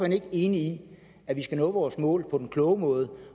ikke enig i at vi skal nå vores mål på den kloge måde